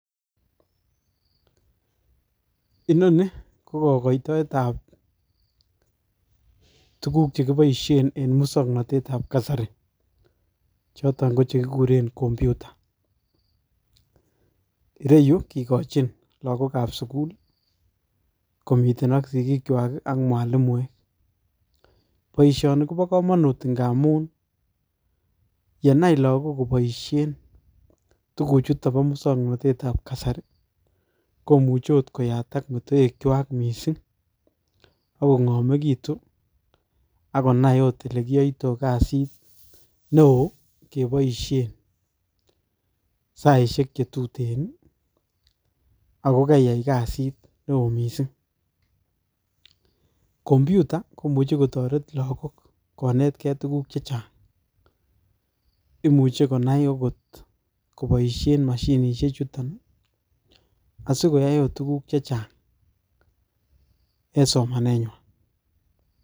Inoni ko kagoitoetab tuguk che kiboisien en musugnatetab kasari choton ko che kiguren computer. Ireyu ko kigachin lsgokab sugul, komiten ak sigilkwai ak mwalimuek. Boisioni kobo kamanut ngamun yenai lagok kobaisien tuguchuton bo musongnatetab kasari, komuche oot koyatak metowekwak mising ak kongamegitun ak konaiot olekiyaito kasit neo keboisien saisiek che tuten ago kaiyai kasit neo mising. Computer komuche kotoret lagok konetke tuguk che chang. Imuche konai ogot koboisien mashinisie chuton asigoyaiot tuguk chechang en soma nenywan.